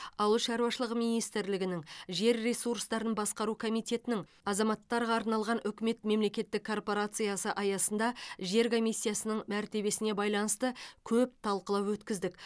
ауыл шаруашылығы министрлігінің жер ресурстарын басқару комитетінің азаматтарға арналған үкімет мемлекеттік корпорациясы аясында жер комиссиясының мәртебесіне байланысты көп талқылау өткіздік